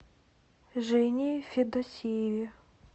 жене федосееве